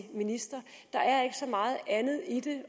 ministre der er ikke så meget andet i det